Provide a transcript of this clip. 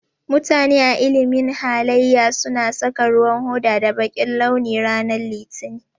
Mutane a ilimin halaye su na saka ruwan hoda da bakin launi ranan litinin.